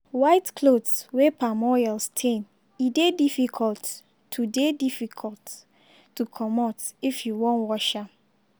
white clothes wey palm oil stain e dey difficult to dey difficult to comot if you wan wash am.